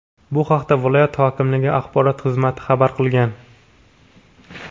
Bu haqda viloyat hokimligi axborot xizmati xabar qilgan .